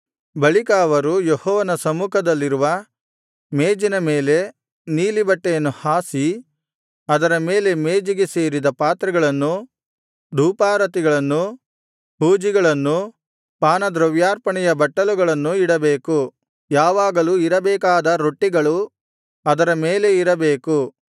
ಬಳಿಕ ಅವರು ಯೆಹೋವನ ಸಮ್ಮುಖದಲ್ಲಿರುವ ಮೇಜಿನ ಮೇಲೆ ನೀಲಿ ಬಟ್ಟೆಯನ್ನು ಹಾಸಿ ಅದರ ಮೇಲೆ ಮೇಜಿಗೆ ಸೇರಿದ ಪಾತ್ರೆಗಳನ್ನೂ ಧೂಪಾರತಿಗಳನ್ನೂ ಹೂಜಿಗಳನ್ನೂ ಪಾನದ್ರವ್ಯಾರ್ಪಣೆಯ ಬಟ್ಟಲುಗಳನ್ನೂ ಇಡಬೇಕು ಯಾವಾಗಲೂ ಇರಬೇಕಾದ ರೊಟ್ಟಿಗಳು ಅದರ ಮೇಲೆ ಇರಬೇಕು